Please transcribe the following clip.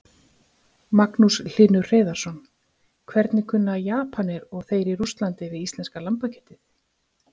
Magnús Hlynur Hreiðarsson: Hvernig kunna Japanir og þeir í Rússlandi við íslenska lambakjötið?